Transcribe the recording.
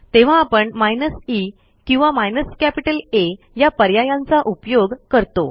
तेव्हा आपण माइनस ई किंवा माइनस कॅपिटल आ या पर्यायांचा उपयोग करतो